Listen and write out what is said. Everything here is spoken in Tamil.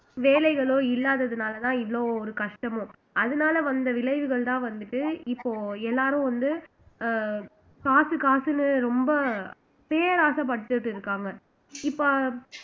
வேலைகளோ இல்லாததுனாலதான் இவ்வளவு ஒரு கஷ்டமோ அதனால வந்த விளைவுகள்தான் வந்துட்டு இப்போ எல்லாரும் வந்து அஹ் காசு காசுன்னு ரொம்ப பேராசை பட்டுட்டு இருக்காங்க இப்ப